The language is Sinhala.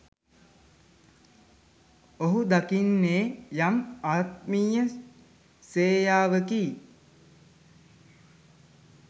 ඔහු දකින්නේ යම් ආත්මීය සේයාවකි.